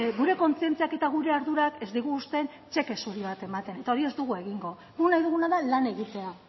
gure kontzientziak eta gure ardurak ez digu uzten txeke zuri bat ematea eta hori ez dugu egingo guk nahi duguna da lan egitea